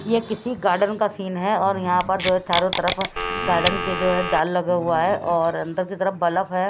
यह किसी गार्डन का सीन है और यहां पर जो है चारों तरफ गार्डन के जो है जाल लगा हुआ है और अंदर की तरफ बल्फ है।